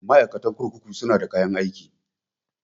Ma'aikatan kurkuku su na da kayan aiki